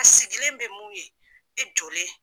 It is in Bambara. A sigilen bɛ mun ye i jɔlen